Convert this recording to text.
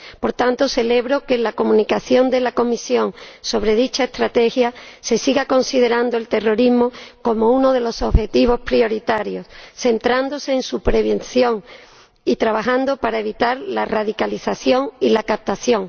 Por tanto, celebro que en la Comunicación de la Comisión sobre dicha Estrategia se siga considerando el terrorismo como uno de los objetivos prioritarios, centrándose en su prevención y trabajando para evitar la radicalización y la captación.